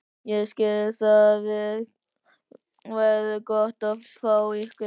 Ég skil- Það verður gott að fá ykkur.